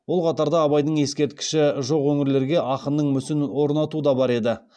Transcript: ол қатарда абайдың ескерткіші жоқ өңірлерге ақынның мүсінін орнату да бар еді